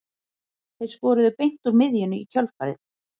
Þeir skoruðu beint úr miðjunni í kjölfarið.